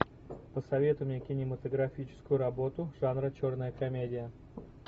посоветуй мне кинематографическую работу жанра черная комедия